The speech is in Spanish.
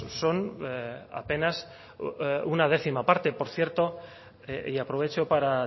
son apenas una décima parte por cierto y aprovecho para